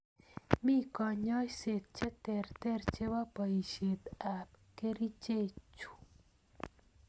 Mi konyoiset cheterter chepo poishet ap kerchek chu.